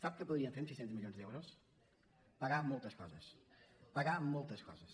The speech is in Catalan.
sap què podríem fer amb sis cents milions d’euros pagar moltes coses pagar moltes coses